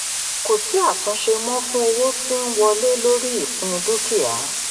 kò sí àtúnṣe mọ́ fún owó tí ń wọlé lórí ìpín dúkìá.